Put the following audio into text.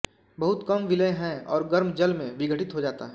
बहुत कम विलेय है और गर्म जल में विघटित हो जाता है